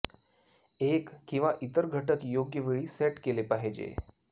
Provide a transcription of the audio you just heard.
एक किंवा इतर घटक योग्य वेळी सेट केले पाहिजे